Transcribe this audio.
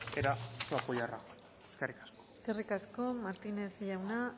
era su apoyo a rajoy eskerrik asko eskerrik asko martínez jauna